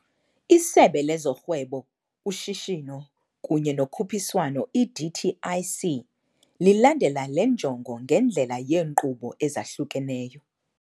ISebe lezoRhwebo, uShishino kunye noKhuphiswano, i-DTIC, lilandela le njongo ngendlela yeenkqubo ezahlukeneyo.